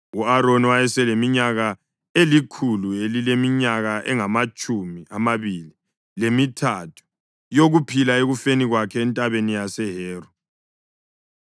U-Aroni wayeseleminyaka elikhulu elileminyaka engamatshumi amabili lemithathu yokuphila ekufeni kwakhe eNtabeni yaseHori.